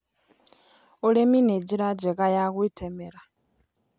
Ũrĩmĩ nĩ njĩra njega ya gwĩtegemera